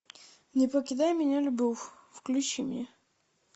не покидай меня любовь включи мне